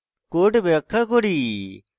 code ব্যাখ্যা করি